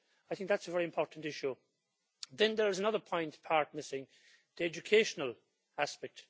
I think that's a very important issue. Then there's another part missing the educational aspect.